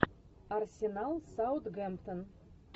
арсенал саутгемптон